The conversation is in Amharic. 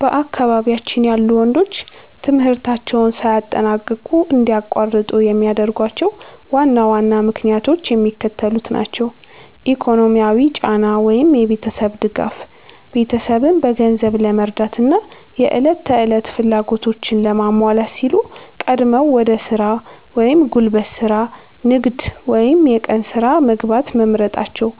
በአካባቢያችን ያሉ ወንዶች ትምህርታቸውን ሳያጠናቅቁ እንዲያቋርጡ የሚያደርጓቸው ዋና ዋና ምክንያቶች የሚከተሉት ናቸው፦ ኢኮኖሚያዊ ጫና (የቤተሰብ ድጋፍ)፦ ቤተሰብን በገንዘብ ለመርዳትና የዕለት ተዕለት ፍላጎቶችን ለማሟላት ሲሉ ቀድመው ወደ ሥራ (ጉልበት ሥራ፣ ንግድ ወይም የቀን ሥራ) መግባት መምረጣቸው።